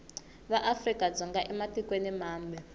va afrika dzonga ematikweni mambe